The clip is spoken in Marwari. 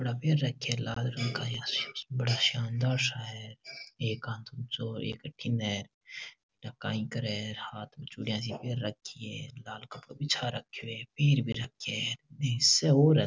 कपड़ा पहन रखे है लाल रंग का बड़ा शानदार सा है एक हाथ अठीने एक हाथ ऊंचो एक हाथ में चुडिया सी पहन राखी है लाल कपड़ा बिछा रखो है पेर भी रखो है हांसे और है।